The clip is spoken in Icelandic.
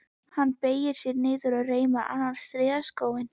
Hann beygir sig niður og reimar annan strigaskóinn.